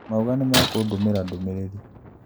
Mauga nĩmekũndũmĩra ndũmĩrĩri